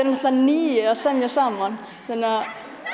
náttúrulega níu að semja saman þannig